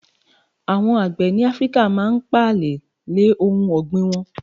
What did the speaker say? Àwon àgbẹ̀ ní Áfíríkà máa n pààlè lè ohun ọ̀gbìn won